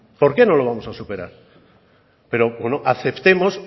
por qué no los vamos a superar pero bueno aceptemos